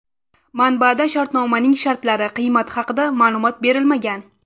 Manbada shartnomaning shartlari, qiymati haqida ma’lumot berilmagan.